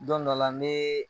Dɔn dɔla nee